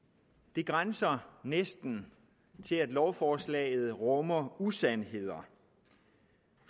det grænser næsten til at lovforslaget rummer usandheder